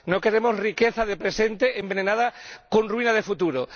No queremos riqueza de presente envenenada con ruina de futuro.